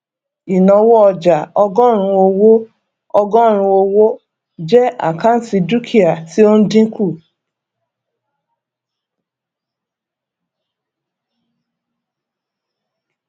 ìnáwó ọjà ọgọrùnún owó ọgọrùnún owó jẹ àkáǹtì dúkìá tí ó ń dínkù